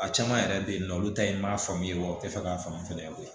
A caman yɛrɛ bɛ yen nɔ olu ta ye n m'a faamuya wa u tɛ fɛ k'a faamu fana koyi